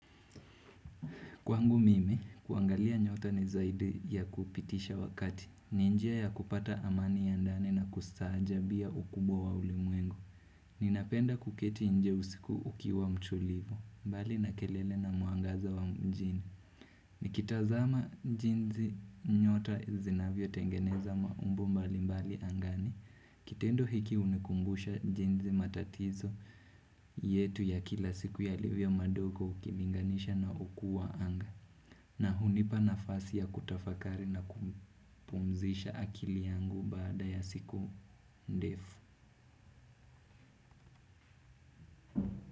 Kwangu mimi, kuangalia nyota ni zaidi ya kupitisha wakati. Ni njia ya kupata amani ya ndani na kustaajabia ukubwa wa ulimwengu. Ninapenda kuketi nje usiku ukiwa mtulivu, mbali na kelele na mwangaza wa mjini. Nikitazama jinsi nyota zinavyo tengeneza maumbo mbali mbali angani. Kitendo hiki hunikumbusha jinsi matatizo yetu ya kila siku ya livyo madogo ukilinganisha na ukuu wa anga. Na hunipa nafasi ya kutafakari na kupumzisha akili yangu baada ya siku ndefu.